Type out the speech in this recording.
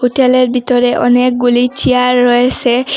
হোটেলের ভিতরে অনেকগুলি চেয়ার রয়েসে।